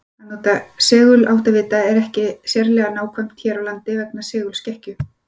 að nota seguláttavita er ekki sérlega nákvæmt hér á landi vegna segulskekkju